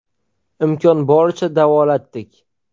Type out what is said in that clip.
Imkon boricha davolatdik.